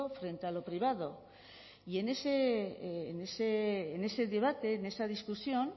frente a lo privado y en ese debate en esa discusión